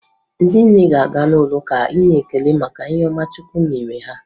Ndị nne ga-aga n'ụlọụka inye ekele maka ihe ọma chukwu mere ha.